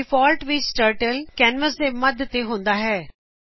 ਡਿਫਾਲਟਨ ਵਿੱਚ turtle canvas ਦੇ ਮੱਧ ਤੇ ਹੁੰਦਾ ਹੈ